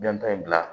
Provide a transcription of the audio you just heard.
Jɔn ta in bila